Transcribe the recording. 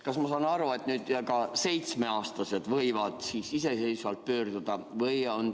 Kas ma saan õigesti aru, et ka seitsmeaastased võivad iseseisvalt arsti poole pöörduda?